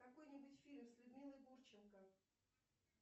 какой нибудь фильм с людмилой гурченко